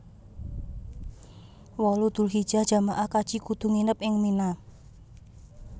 wolu Dzulhijjah jamaah kaji kudu nginep ing Mina